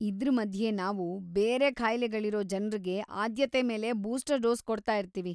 ಇದ್ರ ಮಧ್ಯೆ ನಾವು ಬೇರೆ ಕಾಯ್ಲೆಗಳಿರೋ ಜನ್ರಿಗೆ ಆದ್ಯತೆ ಮೇಲೆ ಬೂಸ್ಟರ್‌ ಡೋಸ್‌ ಕೊಡ್ತಾಯಿರ್ತೀವಿ.